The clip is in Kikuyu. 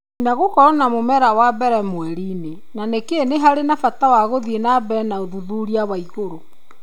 China gũkorwo na mũmera wa mbere mweri-inĩ na nĩkĩ nĩ harĩ bata wa gũthiĩ na mbere na ũthuthuria wa igũrũ.